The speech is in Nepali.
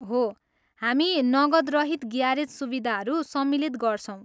हो, हामी नगदरहित ग्यारेज सुविधाहरू सम्मिलित गर्छौँ।